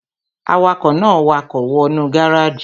Awakọ̀ náà wakọ̀ wọ nú gáràjì